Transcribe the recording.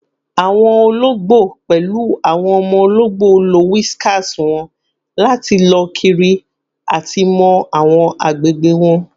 Awọn ologbo, pẹlu awọn ọmọ ologbo, lo whiskers wọn lati lọ kiri ati mọ awọn agbegbe wọn